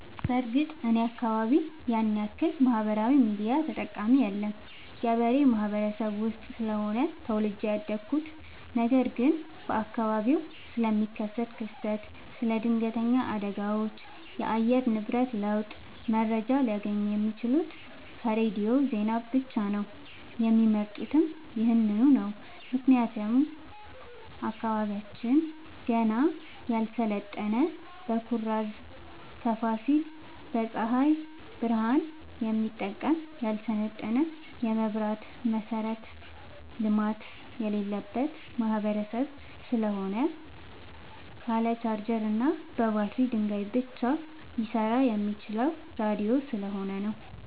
በርግጥ እኔ አካባቢ ያንያክል ማህበራዊ ሚዲያ ተጠቀሚ የለም ገበሬ ማህበረሰብ ውስጥ ስለሆነ ተወልጄ ያደኩት ነገር ግን በአካባቢው ስለሚከሰት ክስተት ስለ ድነገተኛ አደጋዎች የአየር ንብረት ለውጥ መረጃ ሊያገኙ የሚችሉት ከሬዲዮ ዜና ብቻ ነው የሚመርጡትም ይህንኑ ነው ምክንያቱም አካባቢያችን ገና ያልሰለጠነ በኩራዝ ከፋሲል በፀሀይ ብረሃን የሚጠቀም ያልሰለጠነ የመብራት መሠረተ ልማት የሌለበት ማህበረሰብ ስለሆነ ካለ ቻርጀር በባትሪ ድንጋይ ብቻ ሊሰራ የሚችለው ራዲዮ ስለሆነ ነው።